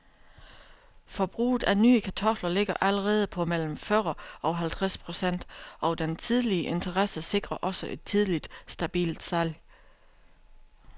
Forbruget af nye kartofler ligger allerede på mellem fyrre og halvtreds procent og den tidlige interesse sikrer også et tidligt, stabilt salg.